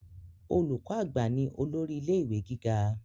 Olùkọ àgbà ni olórí ilé ìwé gíga.